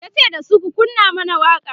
yace dasu "ku kunna man waƙa!"